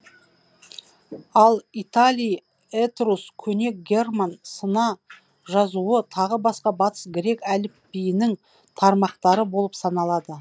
ал италий этрус көне герман сына жазуы тағы басқа батыс грек әліпбиінің тармақтары болып саналады